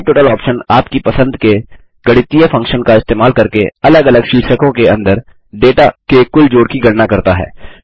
subtotal option आपकी पसंद के गणितीय फंक्शन का इस्तेमाल करके अलग अलग शीर्षकों के अंदर डेटा के कुल जोड़ की गणना करता है